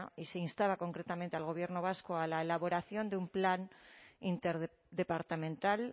y se instaba concretamente al gobierno vasco a la elaboración de un plan interdepartamental